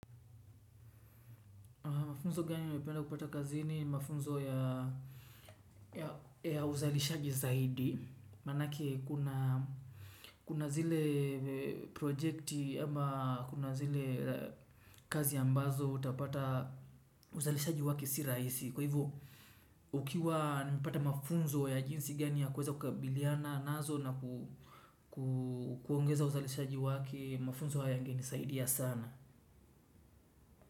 Mafunzo gani umependa kupata kazini ni mafunzo ya uzalishaji zaidi. Manake kuna zile projekti ama kuna zile kazi ambazo utapata uzalishaji wake si raisi. Kwa hivo ukiwa nipata mafunzo ya jinsi gani ya kuweza kukabiliana nazo na kuongeza uzalishaji wake, mafunzo hayange nisaidia sana.